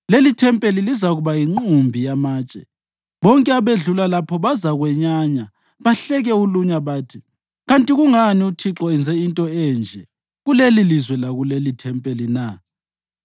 Lelithempeli lizakuba yinqumbi yamatshe. Bonke abedlula lapha bazakwenyanya bahleke ulunya bathi, ‘Kanti kungani uThixo enze into enje kulelilizwe lakulelithempeli na?’